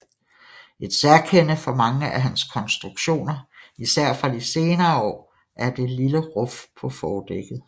Et særkende for mange af hans konstruktioner især fra de senere år er det lille ruf på fordækket